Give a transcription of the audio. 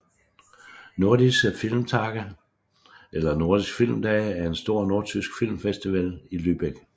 Nordische Filmtage eller Nordisk filmdage er en stor nordtysk filmfestival i Lübeck